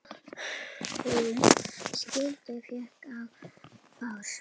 Húm skuggi féll á brá.